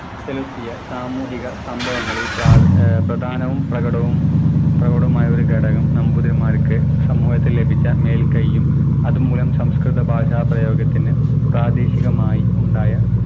ചെലുത്തിയ സാമൂഹിക സംഭവങ്ങളിൽ പ്രാർ ഏർ പ്രധാനവും പ്രകടവും പ്രകടവുമായ ഒരു ഘടകം നമ്പൂതിരിമാർക്ക് സമൂഹത്തിൽ ലഭിച്ച മേൽകയ്യും അതുമൂലം സംസ്‌കൃത ഭാഷാ പ്രയോഗത്തിന് പ്രാദേശികമായി ഉണ്ടായ